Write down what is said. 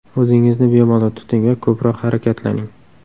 O‘zingizni bemalol tuting va ko‘proq harakatlaning.